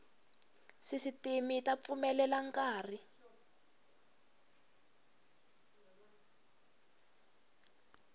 sisitimi yi ta pfumelela nkari